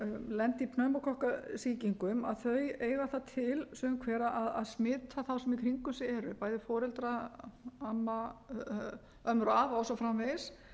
lenda í pneumókokkasýkingum eiga það til sum hver að smita þá sem í kringum sig eru bæði foreldra ömmur og afa og svo framvegis